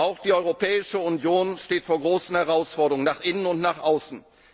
Auch die Europäische Union steht vor großen Herausforderungen nach innen und nach außen.